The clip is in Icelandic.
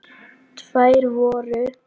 Þær voru